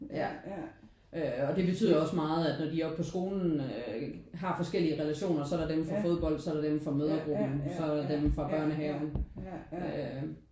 Ja øh og det betyder også meget at når de er oppe på skolen øh har forskellige relationer. Så er der dem fra fodbold så er dem fra mødregruppen så er der dem fra børnehaven øh